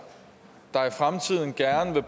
er